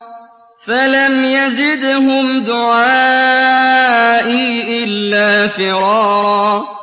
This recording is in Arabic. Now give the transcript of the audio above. فَلَمْ يَزِدْهُمْ دُعَائِي إِلَّا فِرَارًا